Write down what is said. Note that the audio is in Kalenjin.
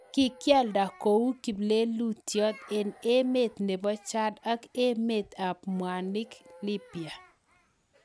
Kikialdaa kouu kiplelutyot eng emet nebo jad ak emeet ab mwanik lipya